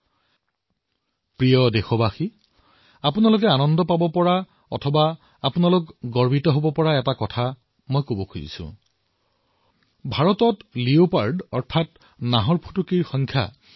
মোৰ মৰমৰ দেশবাসীসকল এতিয়া মই এনেকুৱা কথা এটা কবলৈ ওলাইছো যাৰ দ্বাৰা আপোনালোক আনন্দিতও হব আৰু গৌৰৱান্বিতও হব